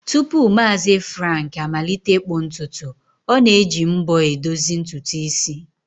Tupu Maazi Frank amalite ịkpụ ntutu, o na-eji mbo e dozi ntutu isi